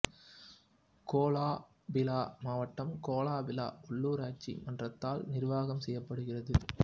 Cola Pilah மாவட்டம் Kuala Pilah உள்ளூராட்சி மன்றத்தால் நிர்வாகம் செய்யப் படுகிறது